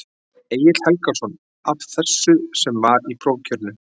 Egill Helgason: Af þessu sem var í prófkjörinu?